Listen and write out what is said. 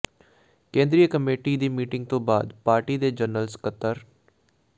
ਕੇਂਦਰੀ ਕਮੇਟੀ ਦੀ ਮੀਟਿੰਗ ਤੋਂ ਬਾਅਦ ਪਾਰਟੀ ਦੇ ਜਨਰਲ ਸਕੱਤਰ ਡਾ